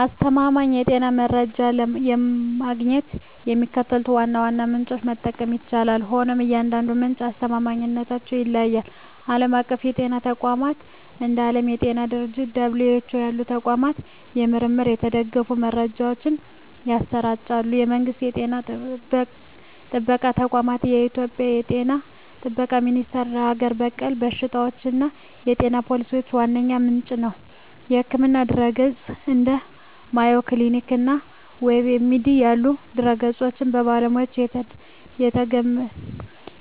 አስተማማኝ የጤና መረጃዎችን ለማግኘት የሚከተሉትን ዋና ዋና ምንጮች መጠቀም ይቻላል፤ ሆኖም የእያንዳንዱ ምንጭ አስተማማኝነት ይለያያል። ዓለም አቀፍ የጤና ተቋማት፦ እንደ ዓለም የጤና ድርጅት (WHO) ያሉ ተቋማት በምርምር የተደገፉ መረጃዎችን ያሰራጫሉ። የመንግስት ጤና ጥበቃ ተቋማት፦ በኢትዮጵያ የ ጤና ጥበቃ ሚኒስቴር ለሀገር በቀል በሽታዎችና የጤና ፖሊሲዎች ዋነኛ ምንጭ ነው። የሕክምና ድረ-ገጾች፦ እንደ Mayo Clinic እና WebMD ያሉ ድረ-ገጾች በባለሙያዎች